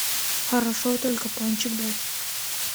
хорошо только пончик дай